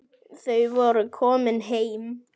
Þau voru komin heim.